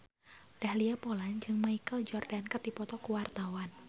Dahlia Poland jeung Michael Jordan keur dipoto ku wartawan